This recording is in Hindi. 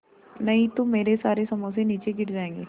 नहीं तो मेरे सारे समोसे नीचे गिर जायेंगे